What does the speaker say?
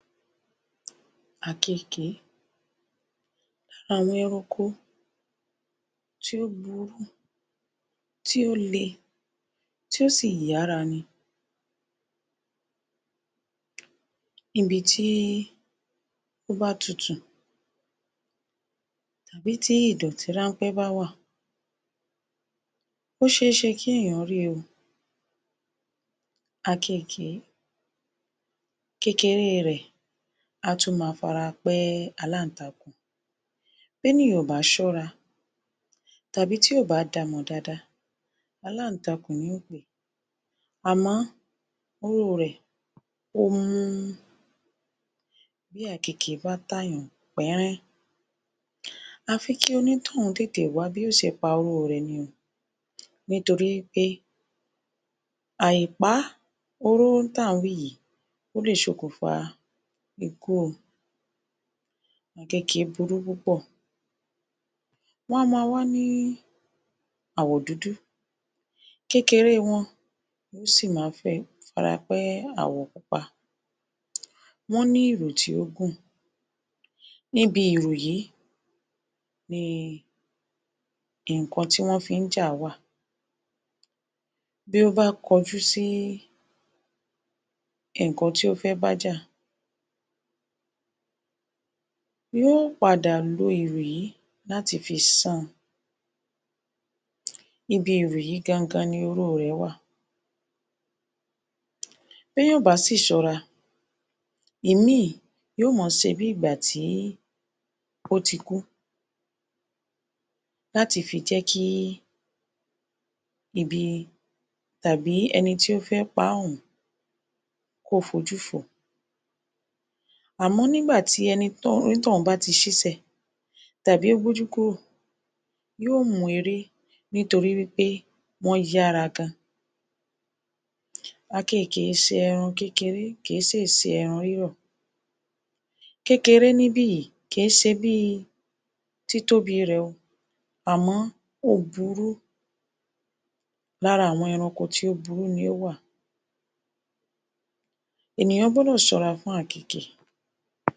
Àkekèé Àwọn ẹranko tí ó burú, tí ó le, tí ó si yára ni. ibi tí ó bá tutù tàbí tí ìdọ̀tí ránpẹ́ bá wà, ó ṣeeṣe kí èèyàn ri o. Àkekèé, kékeré rẹ̀ á tún máa farapẹ́ alá-ǹ-takùn, b'ènìyàn ò bá ṣọ́ra tàbí tí ò bá da mọ̀ dáadáa, alá-ǹ-takùn ni yó pè é. Àmọ́ oró rẹ̀ ó mú, tí àkekèé bá tà yaǹ pẹ́rẹ́, àfi kí onítọ̀hún tètè wá bí yó ṣe pa oró rẹ̀ ní o, nítorí pé à ì pa oró tí à ń wí yìí ó le ṣokùnfà ikú o, àkekèké burú púpọ̀. wá máa wá ní àwọ̀ dúdú kékeré wọn si máa ń fẹ́ farapẹ́ àwọ̀ pupa. wọ́n ní ìrù tí ó gùn, níbi ìrù yìí ni ǹnkan tí wọ́n fi ń jà wà. B́ó bá kọjú sí ǹnkan tí ó fẹ́ bájà yó padà lo ìrù yìí láti fi san. ibi ìrù yìí gan-an-gan ni oró rẹ̀ wà,? bẹ́ẹ̀yàn ò bá si ṣọ́ra, ìmí yó máa ṣe bi ìgbà tí ó ti kú láti fi jẹ́ kí ibi tàbí ẹni tí ó fẹ́ paá ọ̀hún kó fojú fòó àmọ́ nígbà tí ẹnítọ̀hún bá ti ṣísè tàbí ó gbójú kúrò, yó mú eré nítorí wí pé wọ́n yára gan-an. Àkekèé kìí ṣe ẹran kékeré, kìí si ṣe ẹran rírọ̀, kékeré níbì kìí ṣe bíi títóbi rẹ̀ o, àmọ́ ó burú, lára àwọn ẹranko tí ó burú ni ó wà, ènìyàn gbọ́dọ̀ ṣọ́ra fún àkeèkè.?